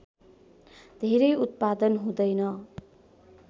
धेरै उत्पादन हुँदैन